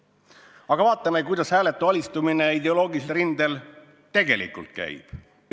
" Aga vaatame, kuidas hääletu alistumine ideoloogilisel rindel tegelikult käib.